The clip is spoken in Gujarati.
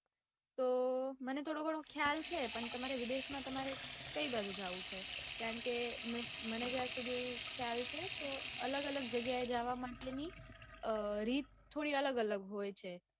તો મને થોડોઘણો ખ્યાલ છે. પણ તમારે વિદેશમાં તમારે કઈ બાજુ જાઉં છે. કારણકે મને જ્યાં સુધી ખ્યાલ છે. તો અલગ અલગ જગ્યાએ જાવા માટેની રીત થોડીઘણી અલગ અલગ હોય છે.